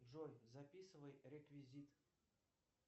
джой записывай реквизит